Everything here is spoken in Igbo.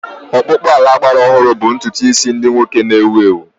Ọkpụkpụ ala gbara ọhụrụ bụ ntutu isi ndị nwoke na-ewu ewu.